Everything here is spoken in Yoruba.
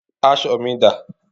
Aṣọ mi dá?